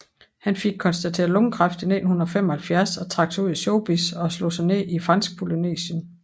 Han fik konstateret lungekræft i 1975 og trak sig ud af showbizz og slog sig ned i Fransk Polynesien